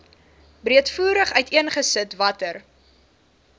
breedvoerig uiteengesit watter